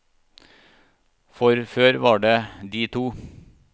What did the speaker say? For før var det de to.